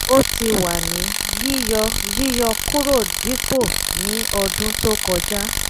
ó ti wà ní yíyọ yíyọ kúrò dípò ní ọdún tó kọjá